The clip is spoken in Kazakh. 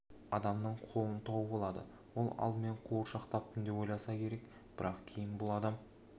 адамның қолын тауып алады ол алдымен қуыршақ таптым деп ойласа керек бірақ кейін бұл адам